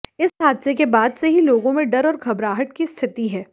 इस हादसे के बाद से ही लोगों में डर और घबराहट की स्थिति है